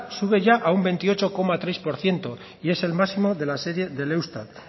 sube ya a un veintiocho coma tres por ciento y es el máximo de la serie del eustat